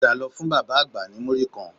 Padà lọ fún bàbá àgbà ní múrí kan